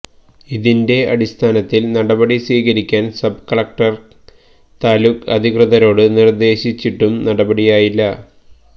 ഇതിന്റെ അടിസ്ഥാനത്തില് നടപടി സ്വീകരിക്കാന് സബ് കലക്ടര് താലൂക്ക് അധികൃതരോട് നിര്ദേശിച്ചിട്ടും നടപടിയായില്ല